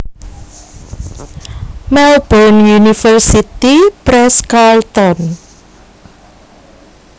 Melbourne University Press Carlton